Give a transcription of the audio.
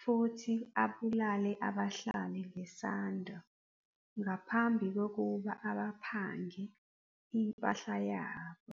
futhi abulale abahlali ngesando ngaphambi kokuba abaphange impahla yabo.